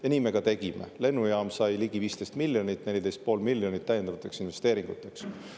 Ja nii me ka tegime: lennujaam sai ligi 15 miljonit, 14,5 miljonit täiendavateks investeeringuteks.